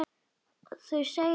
Þau segjast eiga þrjú börn.